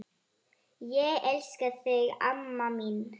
Ég elska þig, amma mín.